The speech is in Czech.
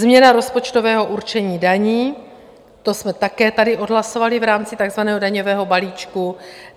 Změna rozpočtového určení daní, to jsme také tady odhlasovali v rámci takzvaného daňového balíčku.